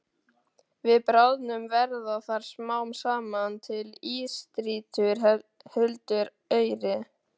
Við bráðnun verða þar smám saman til ísstrýtur huldar auri.